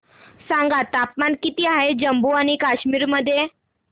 सांगा तापमान किती आहे जम्मू आणि कश्मीर मध्ये